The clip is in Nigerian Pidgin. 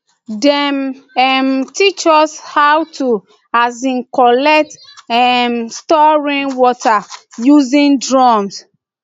dem um teach us how to um collect and um store rainwater using drums